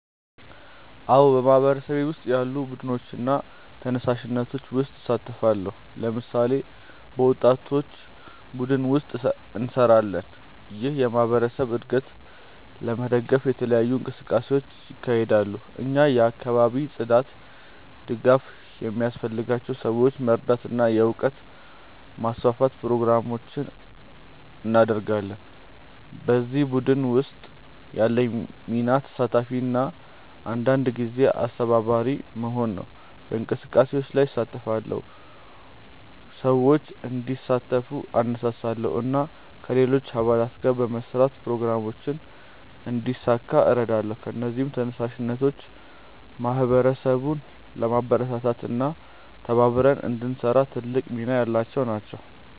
አዎን፣ በማህበረሰቤ ውስጥ ያሉ ቡድኖችና ተነሳሽነቶች ውስጥ እሳተፋለሁ። ለምሳሌ፣ በወጣቶች ቡድን ውስጥ እንሰራለን፣ ይህም የማህበረሰብ እድገትን ለመደገፍ የተለያዩ እንቅስቃሴዎችን ያካሂዳል። እኛ የአካባቢ ጽዳት፣ ድጋፍ ለሚያስፈልጋቸው ሰዎች መርዳት እና የእውቀት ማስፋፋት ፕሮግራሞችን እናደርጋለን። በዚህ ቡድን ውስጥ ያለኝ ሚና ተሳታፊ እና አንዳንድ ጊዜ አስተባባሪ መሆን ነው። በእንቅስቃሴዎች ላይ እሳተፋለሁ፣ ሰዎችን እንዲሳተፉ እነሳሳለሁ እና ከሌሎች አባላት ጋር በመስራት ፕሮግራሞችን እንዲሳካ እረዳለሁ። እነዚህ ተነሳሽነቶች ማህበረሰቡን ለማበረታታት እና ተባብረን እንድንሰራ ትልቅ ሚና ያላቸው ናቸው።